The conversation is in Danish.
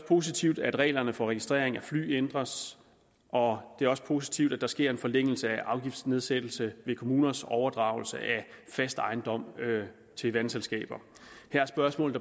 positivt at reglerne for registrering af fly ændres og det er også positivt at der sker en forlængelse af afgiftsnedsættelsen ved kommuners overdragelse af fast ejendom til vandselskaber her er spørgsmålet